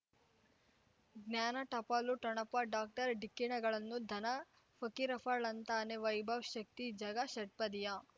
ಜ್ಞಾನ ಟಪಾಲು ಠೊಣಪ ಡಾಕ್ಟರ್ ಢಿಕ್ಕಿ ಣಗಳನು ಧನ ಫಕೀರಪ್ಪ ಳಂತಾನೆ ವೈಭವ್ ಶಕ್ತಿ ಝಗಾ ಷಟ್ಪದಿಯ